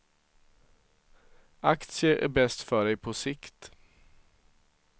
Aktier är bäst för dig på sikt.